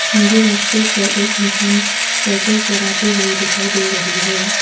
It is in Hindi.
मुझे रास्ते पर एक इंसान साइकल चलाते हुए दिखाई दे रही है।